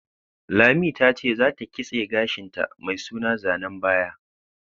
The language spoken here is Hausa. Lami ta ce za ta kitse gashin ta mai suna zanen baya